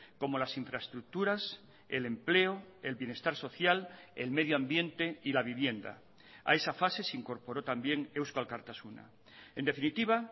como las infraestructuras el empleo el bienestar social el medioambiente y la vivienda a esa fase se incorporó también eusko alkartasuna en definitiva